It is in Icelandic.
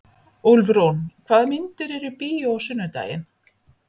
Úlfrún, hvaða myndir eru í bíó á sunnudaginn?